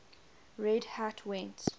red hat went